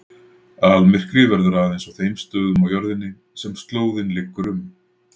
Almyrkvi verður aðeins á þeim stöðum á jörðinni sem slóðin liggur um.